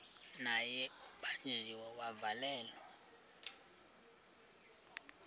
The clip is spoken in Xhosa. naye ubanjiwe wavalelwa